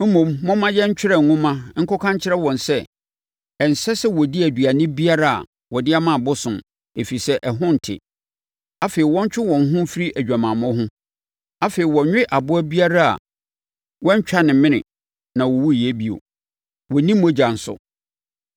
Mmom, momma yɛntwerɛ nwoma nkɔka nkyerɛ wɔn sɛ, ɛnsɛ sɛ wɔdi aduane biara a wɔde ama abosom, ɛfiri sɛ, ɛho nte; afei, wɔntwe wɔn ho mfiri adwamammɔ ho, afei, wɔnnwe aboa a wɔantwa ne mene na ɔwuiɛ; bio, wɔnnni mogya nso.